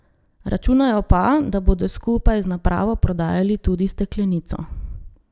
Računajo pa, da bodo skupaj z napravo prodajali tudi steklenico.